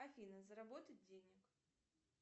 афина заработать денег